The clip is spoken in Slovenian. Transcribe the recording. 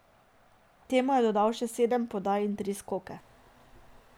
K temu je dodal še sedem podaj in tri skoke.